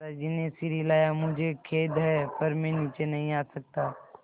दादाजी ने सिर हिलाया मुझे खेद है पर मैं नीचे नहीं आ सकता